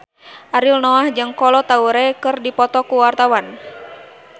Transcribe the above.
Ariel Noah jeung Kolo Taure keur dipoto ku wartawan